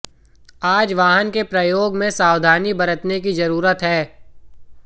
आज वाहन के प्रयोग में सावधानी बरतने की जरूरत है